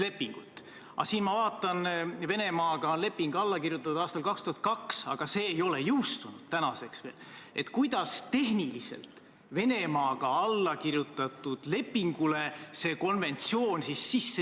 Korduvalt on siin räägitud, et kaasatud on olnud raudtee-ettevõtjad, kelle ettepanekul – või nagu siin väljendati, et pärast nendega konsulteerimist – pikendatakse neid erandeid veel kord viieaastaseks perioodiks.